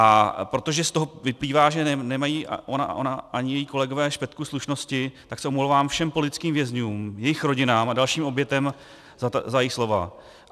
A protože z toho vyplývá, že nemají ona ani její kolegové špetku slušnosti, tak se omlouvám všem politickým vězňům, jejich rodinám a dalším obětem za její slova.